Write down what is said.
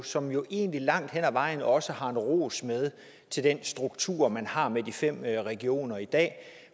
som jo egentlig langt hen ad vejen også har en ros med til den struktur man har med de fem regioner i dag